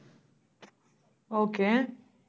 okay